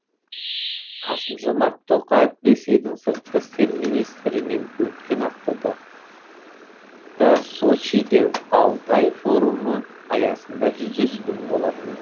қасым жомарт тоқаев ресейдің сыртқы істер министрімен өткен аптада да сочиде валдай форумы аясында жүздескен болатын